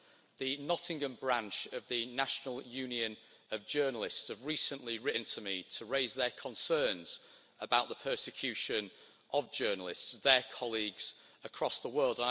The Nottingham branch of the National Union of Journalists have recently written to me to raise their concerns about the persecution of journalists their colleagues across the world.